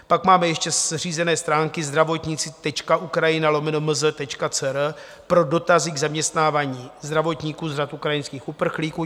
Pak máme ještě zřízené stránky zdravotnici.ukrajina/mz.cr pro dotazy k zaměstnávání zdravotníků z řad ukrajinských uprchlíků.